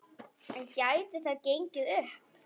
En gæti það gengið upp?